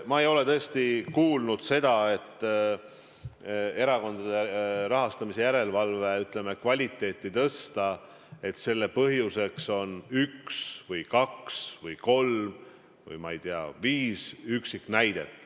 Ma ei ole tõesti kuulnud seda, et selle põhjuseks, et erakondade rahastamise järelevalve, ütleme, kvaliteeti tõsta, on üks, kaks, kolm või, ma ei tea, viis üksiknäidet.